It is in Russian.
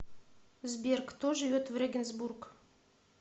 сбер кто живет в регенсбург